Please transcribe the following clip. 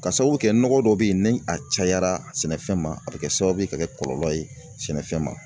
Ka sababu kɛ nɔgɔ dɔw bɛ yen ni a cayara sɛnɛfɛn ma a bɛ kɛ sababu ye ka kɛ kɔlɔlɔ ye sɛnɛfɛn ma